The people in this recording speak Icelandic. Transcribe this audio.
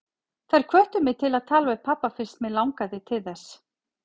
Þær hvöttu mig til að tala við pabba fyrst mig langaði til þess.